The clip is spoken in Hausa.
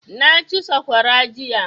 Na ci saƙwara jiya